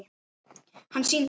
Hann sýndi